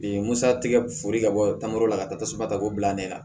musatigɛ foli ka bɔ tankaro la ka taa tasuma ta k'o bila ne la